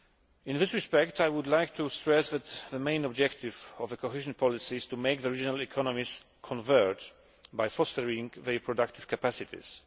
In this respect, I would like to stress that the main objective of the cohesion policy is to make the regional economies converge by fostering the productive capacities.